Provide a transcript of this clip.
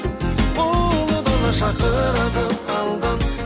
ұлы дала шақырады алдан